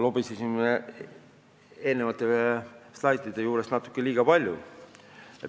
Lobisesin slaidide juures natuke liiga palju.